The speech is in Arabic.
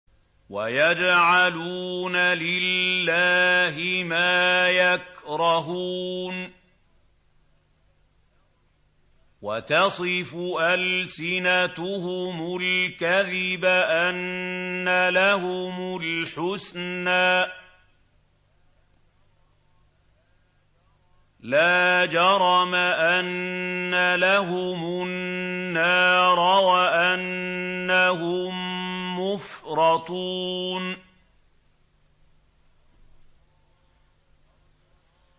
وَيَجْعَلُونَ لِلَّهِ مَا يَكْرَهُونَ وَتَصِفُ أَلْسِنَتُهُمُ الْكَذِبَ أَنَّ لَهُمُ الْحُسْنَىٰ ۖ لَا جَرَمَ أَنَّ لَهُمُ النَّارَ وَأَنَّهُم مُّفْرَطُونَ